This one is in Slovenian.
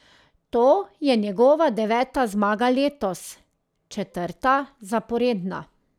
To je njegova deveta zmaga letos, četrta zaporedna.